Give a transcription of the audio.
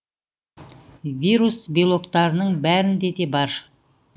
вирус белоктарының бәрінде де бар